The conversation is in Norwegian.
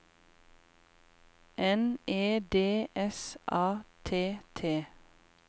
N E D S A T T